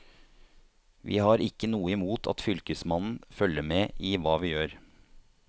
Vi har ikke noe imot at fylkesmannen følger med i hva vi gjør.